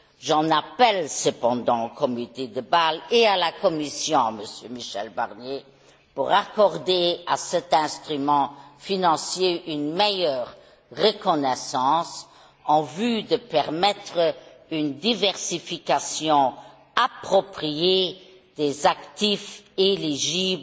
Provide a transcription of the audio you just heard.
J'en appelle cependant au comité de Bâle et à la Commission, Monsieur Michel Barnier, pour accorder à cet instrument financier une meilleure reconnaissance en vue de permettre une diversification appropriée des actifs éligibles